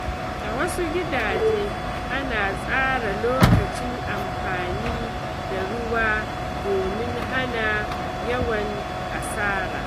A wasu gidaje, ana tsara lokacin amfani da ruwa domin hana yawan asara.